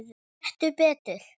Nei, gettu betur